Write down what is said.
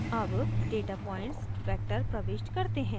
अब data points vector प्रविष्ट करते हैं